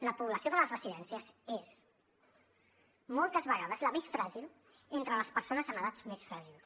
la població de les residències és moltes vegades la més fràgil entre les persones amb edats més fràgils